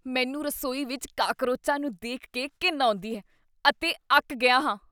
ਮੈਂ ਰਸੋਈ ਵਿੱਚ ਕਾਕਰੋਚਾਂ ਨੂੰ ਦੇਖ ਕੇ ਘਿਣ ਆਉਂਦੀ ਹੈ ਅਤੇ ਅੱਕ ਗਿਆ ਹਾਂ।